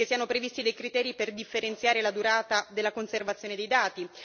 che siano previsti dei criteri per differenziare la durata della conservazione dei dati